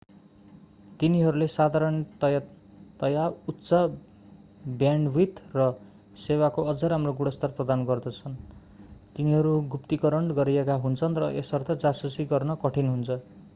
तिनीहरूले साधारणतयाः उच्च ब्यान्डविथ र सेवाको अझ राम्रो गुणस्तर प्रदान गर्छन् तिनीहरू गुप्तीकरण गरिएका हुन्छन् र यसर्थ जासुसी गर्न कठिन हुन्छ